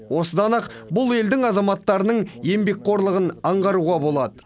осыдан ақ бұл елдің азаматтарының еңбекқорлығын аңғаруға болады